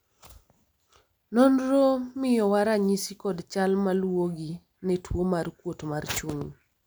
nonro miyowa ranyisi kod chal maluwogi ne tuo mar kuot mar chuny